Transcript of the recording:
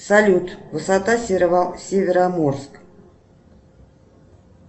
салют высота североморск